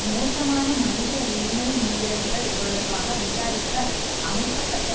மோசமான மனித உரிமை மீறல்கள் தொடர்பாக விசாரிக்க அமைக்க பட்ட